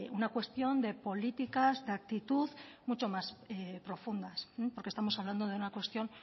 una cuestión de políticas de actitud mucho más profundas porque estamos hablando de una cuestión